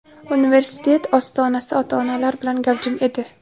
Universitet ostonasi ota-onalar bilan gavjum edi.